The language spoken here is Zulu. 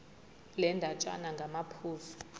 le ndatshana ngamaphuzu